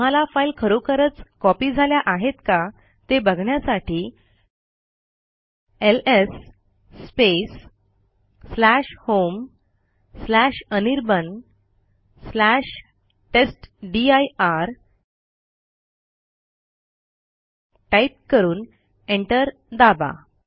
तुम्हाला फाईल खरोखरच कॉपी झाल्या आहेत का ते बघण्यासाठी एलएस homeanirbantestdir टाईप करून एंटर दाबा